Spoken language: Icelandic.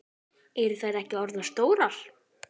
Eru þær ekki orðnar stórar?